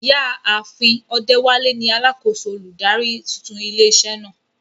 Ìyá àfin Odewale ni alákòóso olùdarí tuntun ilé iṣẹ́ náà.